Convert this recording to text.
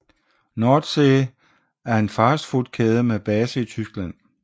Nordsee er en fastfoodkæde med base i Tyskland